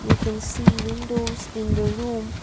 we can see windows in the room.